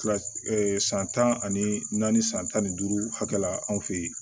Kilasi san tan ani naani san tan ni duuru hakɛ la anw fɛ ye